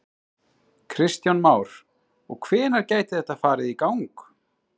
Kristján Már: Og hvenær gæti þetta farið í gang?